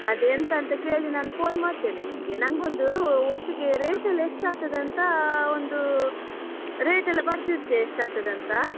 ಅದು ಎಂತ ಅಂತ ಕೇಳಿ ನಾನು phone ಮಾಡ್ತೇನೆ ನಿನ್ಗೆ, ನಂಗೊಂದು ಒಟ್ಟಿಗೆ rate ಎಲ್ಲ ಎಷ್ಟಾಗ್ತದೆ ಅಂತ ಒಂದು, rate ಎಲ್ಲ ಬರ್ದಿಟ್ತೀಯ ಎಷ್ಟಾಗ್ತದೆ ಅಂತ.